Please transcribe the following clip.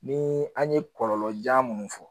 Ni an ye kɔlɔlɔja minnu fɔ